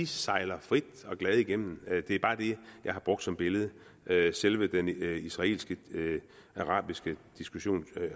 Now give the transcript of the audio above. sejler frie og glade igennem det er bare det jeg har brugt som billede billede selve den israelsk arabiske diskussion